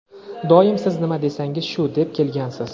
Doim "siz nima desangiz shu" deb kelgansiz.